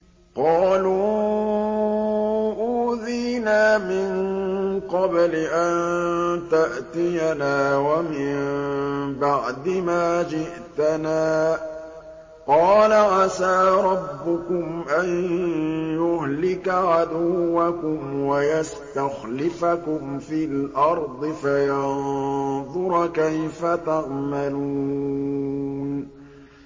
قَالُوا أُوذِينَا مِن قَبْلِ أَن تَأْتِيَنَا وَمِن بَعْدِ مَا جِئْتَنَا ۚ قَالَ عَسَىٰ رَبُّكُمْ أَن يُهْلِكَ عَدُوَّكُمْ وَيَسْتَخْلِفَكُمْ فِي الْأَرْضِ فَيَنظُرَ كَيْفَ تَعْمَلُونَ